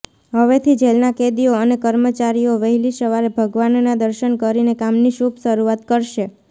હવેથી જેલના કેદીઓ અને કર્મચારીઓ વહેલી સવારે ભગવાનના દર્શન કરીને કામની શુભ શરુઆત કરશે